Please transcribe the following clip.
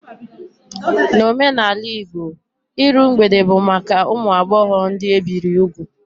N'omenala Igbo, iru mgbede bụ maka ụmụ agbọghọ ndị ebiri ugwu